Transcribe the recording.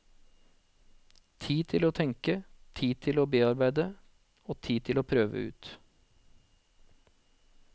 Tid til å tenke, til å bearbeide, og til å prøve ut.